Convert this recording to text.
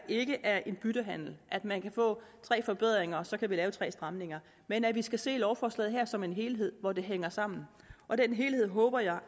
ikke er en byttehandel man kan få tre forbedringer og så kan der laves tre stramninger men at vi skal se lovforslaget her som en helhed hvor det hænger sammen og den helhed håber jeg